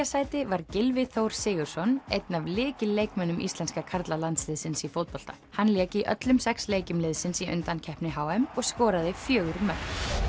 sæti var Gylfi Þór Sigurðsson einn af lykilleikmönnum íslenska karlalandsliðsins í fótbolta hann lék í öllum sex leikjum liðsins í undankeppni h m og skoraði fjögur mörk